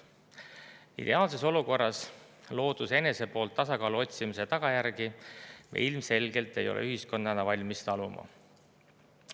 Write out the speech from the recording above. Ideaalses olukorras looduse enese poolt tasakaalu otsimise tagajärgi me ilmselgelt ei ole ühiskonnana valmis taluma.